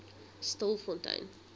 stilfontein